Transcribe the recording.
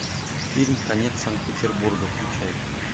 фильм конец санкт петербурга включай